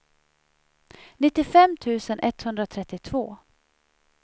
nittiofem tusen etthundratrettiotvå